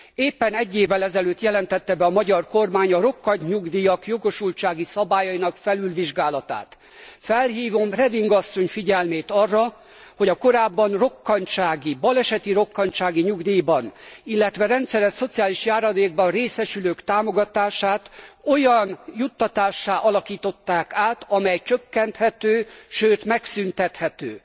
Éppen egy évvel ezelőtt jelentette be a magyar kormány a rokkantnyugdíjak jogosultsági szabályainak felülvizsgálatát. Felhívom Reding asszony figyelmét arra, hogy a korábban rokkantsági, baleseti rokkantsági nyugdíjban, illetve rendszeres szociális járadékban részesülők támogatását olyan juttatássá alakították át, amely csökkenthető, sőt megszüntethető.